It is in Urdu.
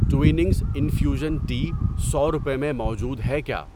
ٹویننگز انفیوژن ٹی سو روپے میں موجود ہے کیا؟